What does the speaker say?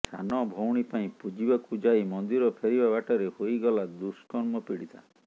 ସାନଭଉଣୀ ପାଇଁ ପୂଜିବାକୁ ଯାଇ ମନ୍ଦିର ଫେରିବା ବାଟରେ ହୋଇଗଲା ଦୁଷ୍କର୍ମପୀଡ଼ିତା